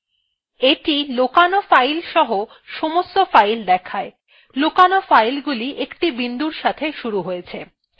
এটি লোকানো filesসহ সমস্ত files দেখায় লোকানো filesগুলি একটি বিন্দুর সাথে শুরু হয়েছে